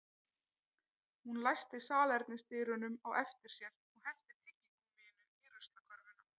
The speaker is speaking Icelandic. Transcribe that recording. Hún læsti salernisdyrunum á eftir sér og henti tyggigúmmíinu í ruslakörfuna